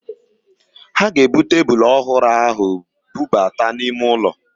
Ha ga-eburu tebulu ọhụrụ ahụ bubata n'ime ụlọ